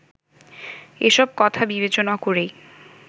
এসব কথা বিবেচনা করেই